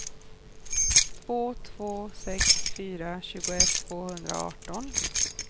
två två sex fyra tjugoett tvåhundraarton